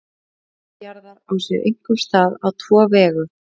Varmatap jarðar á sér einkum stað á tvo vegu.